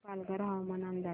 पालघर हवामान अंदाज